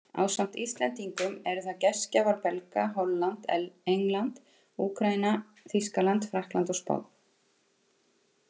Ásamt Íslendingum eru það gestgjafar Belga, Holland, England, Úkraína, Þýskaland, Frakkland og Spánn.